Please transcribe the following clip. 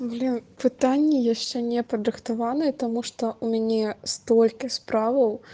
бля пытанне яшчэ не падрыхтаваны таму што у мяне стольки справау